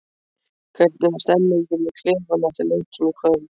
Hvernig var stemningin í klefanum eftir leikinn í kvöld?